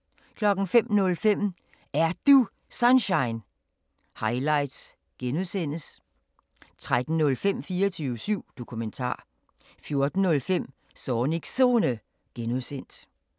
05:05: Er Du Sunshine? – highlights (G) 13:05: 24syv Dokumentar 14:05: Zornigs Zone (G)